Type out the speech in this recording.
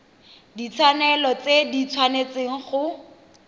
ditshwanelo tse di tshwanetseng go